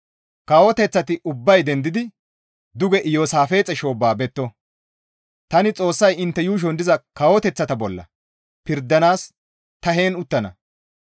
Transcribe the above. «Kawoteththati ubbay dendidi duge Iyoosaafixe shoobba betto; tani Xoossay intte yuushon diza kawoteththata bolla pirdanaas ta heen uttana.